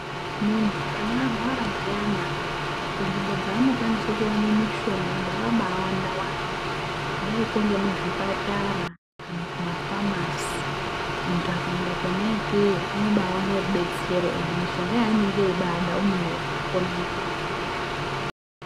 Muntu kana arwara zviyana kunzvimbo dzaanokwanise kuwane mishonga dzakabaawanda wanda kuadikwo ngemuzvipatara kana kumafamasi. Muntu akaende kwona ikweyo unobaawana rudetsero endi mishonga yaanenge eibaada unoiona kwona ikweyo.